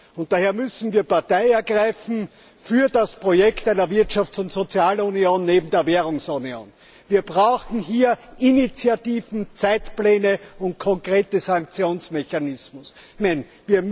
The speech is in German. Und daher müssen wir Partei ergreifen für das Projekt einer Wirtschafts und Sozialunion, neben der Währungsunion. Wir brauchen hier Initiativen, Zeitpläne und konkrete Sanktionsmechanismen, nicht bloß Ankündigungen.